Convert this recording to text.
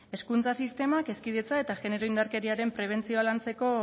hezkuntza sistemak hezkidetza eta genero indarkeriaren prebentzioa lantzeko